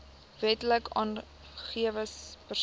wetlik aangewese persoon